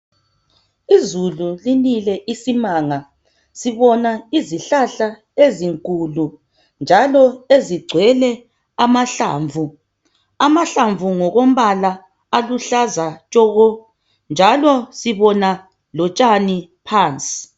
Izulu linile isimanga sibona izihlahla ezinkulu njalo ezigcwele amahlamvu, amahlamvu ngokombala aluhlaza tshoko njalo sibona lotshani phansi.